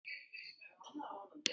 Þóra Kristín: Sem sagt ekki?